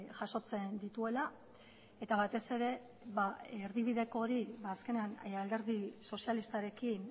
jasotzen dituela eta batez ere erdibideko hori azkenean alderdi sozialistarekin